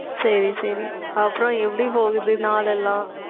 சரி, சரி அப்புறம் எப்படி போகுது, நாளெல்லாம்